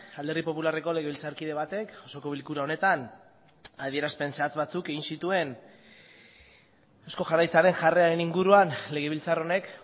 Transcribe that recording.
alderdi popularreko legebiltzarkide batek osoko bilkura honetan adierazpen zehatz batzuk egin zituen eusko jaurlaritzaren jarreraren inguruan legebiltzar honek